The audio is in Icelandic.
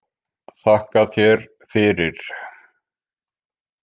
Þakka þér fyrir